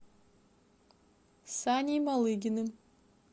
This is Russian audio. саней малыгиным